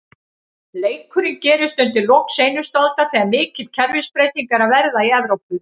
Leikurinn gerist undir lok seinustu aldar, þegar mikil kerfisbreyting er að verða í Evrópu.